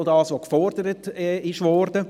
Das ist auch, was gefordert wurde.